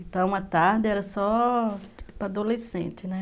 Então, a tarde era só para adolescente, né?